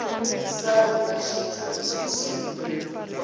sale na tshithu na tshithihi